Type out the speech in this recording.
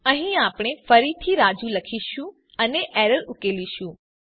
અહીં આપણે ફરીથી રાજુ લખીશું અને એરર ઉકેલીશું